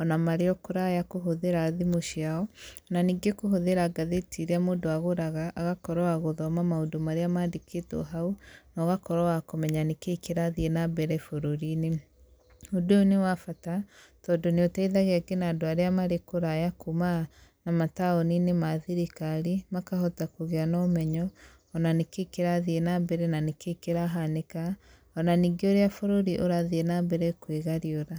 ona marĩ o kũraya kũhũthĩra thimũ ciao, na ningĩ kũhũthĩra gathĩti irĩa mũndũ agũraga agakorwo wa gũthoma maũndũ marĩa mandĩkĩtwo hau, na ũgakorwo wa kũmenya nĩ kĩĩ kĩrathiĩ na mbere bũrũri-inĩ. Ũndũ ũyũ nĩ wa bata tondũ nĩ ũteithagia nginya andũ arĩa marĩ kũraya kuuma na mataũni-inĩ ma thirikari makahota kũgĩa na ũmenyo ona nĩ kĩĩ kĩrathiĩ na mbere na nĩ kĩĩ kĩrahanĩka ona ningĩ ũrĩa bũrũri ũrathiĩ na mbere kwĩgariũra.